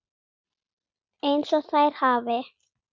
EINS OG ÞÆR HAFI